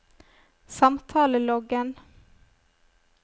samtaleloggen